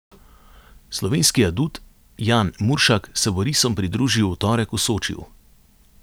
Slovenski adut Jan Muršak se bo risom pridružil v torek v Sočiju.